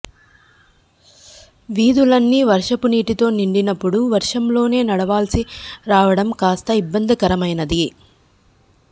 వీధులన్నీ వర్షపు నీటితో నిండినప్పుడు వర్షంలోనే నడవాల్సి రావడం కాస్త ఇబ్బందికరమైనది